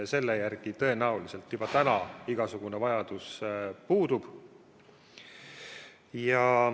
Selle järele tõenäoliselt juba täna igasugune vajadus puudub.